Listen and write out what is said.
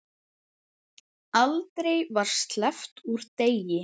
Aldrei var sleppt úr degi.